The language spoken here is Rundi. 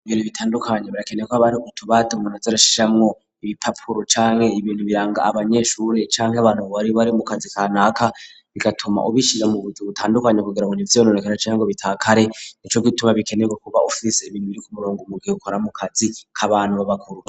Ibiro bitandukanye birakeneye ko haba hari utubati munazi arashiramwo ibipapuro canke ibintu biranga abanyeshure canke abantu bo bari bari mu kazi ka ntaka bigatuma ubishire mu buryo butandukanye kugera go nivynonekara cyanke ngo bitakare nico gituma bikenerwe kuba ufise ibintu biri kumurongo mu ghekora mu kazi k'abantu b'abakuru.